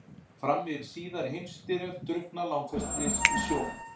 Fram yfir síðari heimsstyrjöld drukkna langflestir í sjó.